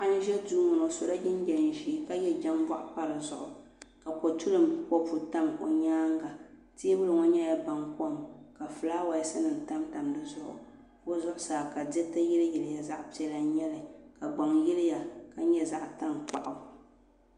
Paɣa n ʒɛ duu ŋo o yɛla liiga ʒiɛ ka yɛ jɛŋboɣu pa di zuɣu ka kotulim kopu tam o nyaanga teebuli ŋo nyɛla baŋkom ka fulaawaasi nim tamtam di zuɣu o zuɣusaa ka diriti yiliyiliya zaɣ piɛla n nyɛli ka gbaŋ yiliya ka nyɛ zaɣ tankpaɣu